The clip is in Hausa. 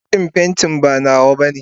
buroshin pantin ba nawa bane.